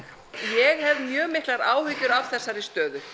ég hef mjög miklar áhyggjur af þessari stöðu